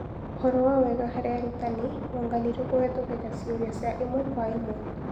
ũhoro wa wega hari arutani wonganirio kũhetũkĩra ciũria cia ĩmwe kwa ĩmwe.